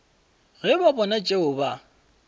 ge ba bona tšeo ba